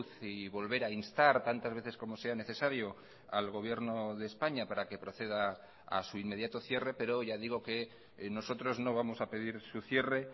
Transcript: y volver a instar tantas veces como sean necesario al gobierno de españa para que proceda a su inmediato cierre pero ya digo que nosotros no vamos a pedir su cierre